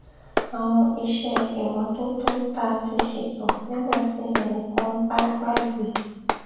àwọn iṣé ìmótótó tá a ti ṣètò nígbà tí ẹnì kan bá gbàgbé